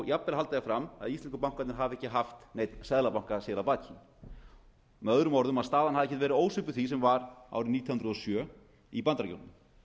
jafnvel halda því fram að íslensku bankarnir hafi ekki haft neinn seðlabanka sér að baki möo að staðan hafi ekki verið ósvipuð því sem var árið nítján hundruð og sjö í bandaríkjunum